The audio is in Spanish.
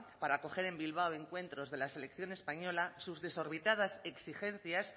para acoger en bilbao encuentros de la selección española sus desorbitadas exigencias